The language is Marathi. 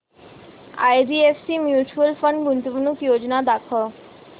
आयडीएफसी म्यूचुअल फंड गुंतवणूक योजना दाखव